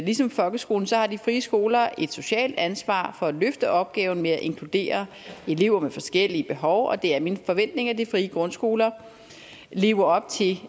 ligesom folkeskoler har de frie skoler et socialt ansvar for at løfte opgaven med at inkludere elever med forskellige behov og det er min forventning at de frie grundskoler lever op til